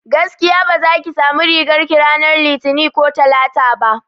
Gaskiya baza ki sami rigar ki ranar litini ko talata ba